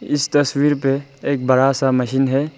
इस तस्वीर पे एक बड़ा सा मशीन है।